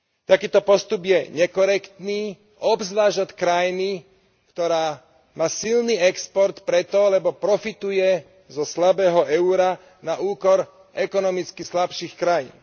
Takýto postup je nekorektný, obzvlášť od krajiny, ktorá má silný export preto, lebo profituje zo slabého eura na úkor ekonomicky slabších krajín.